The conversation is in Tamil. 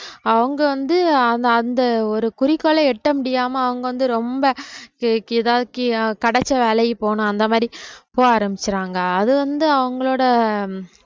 அவங்க வந்து அந்த அந்த ஒரு குறிக்கோளை எட்ட முடியாம அவங்க வந்து ரொம்ப அஹ் எதாவது கி~ அஹ் கிடைச்ச வேலைக்கு போகனும் அந்த மாதிரி போக ஆரம்பிச்சிடுறாங்க அது வந்து அவங்களோட